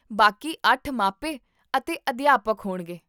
ਬਾਕੀ ਅੱਠ ਮਾਪੇ ਅਤੇ ਅਧਿਆਪਕ ਹੋਣਗੇ